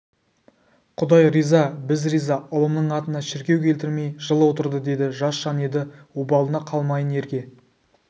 құдай риза біз риза ұлымның атына шіркеу келтірмей жыл отырды деді жас жан еді обалына қалмайын ерге